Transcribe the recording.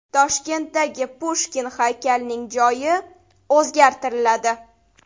Toshkentdagi Pushkin haykalining joyi o‘zgartiriladi.